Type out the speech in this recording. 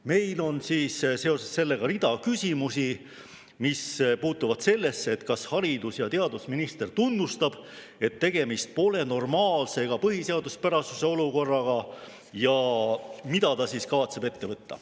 Meil on seoses sellega rida küsimusi, mis puutuvad sellesse, kas haridus‑ ja teadusminister tunnistab, et tegemist pole normaalse ega põhiseaduspärase olukorraga, ja mida ta siis kavatseb ette võtta.